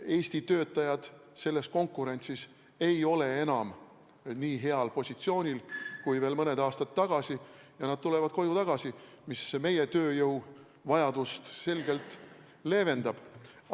Eesti töötajad ei ole selles konkurentsis enam nii heal positsioonil kui veel mõned aastad tagasi ja nad tulevad koju tagasi, mis meie tööjõuvajaduse probleemi selgelt leevendab.